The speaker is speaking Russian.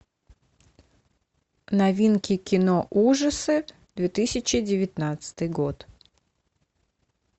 новинки кино ужасы две тысячи девятнадцатый год